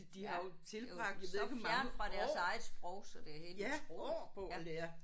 Ja. Det er jo så fjernt fra deres eget sprog så det er helt utroligt ja